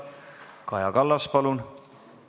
Kaja Kallas, palun!